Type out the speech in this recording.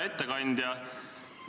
Hea ettekandja!